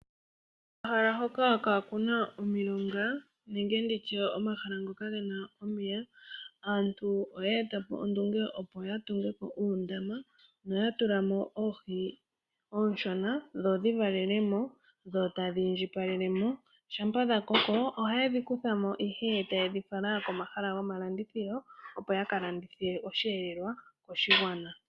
Omahala hoka kaanuna omilonga nenge nditya omahala ngo kagena omeya, aantu oya eta po ondunge opo yatunge po uundama noyatulamo oohi ooshona dhodhi valelemo dho tadhi indjipalelemo. Shampa dhakoko ohaye dhi kuthamo ihe tayedhi fala komahala gomalandithilo opo yakalandithe oshihelelwa koshigwana.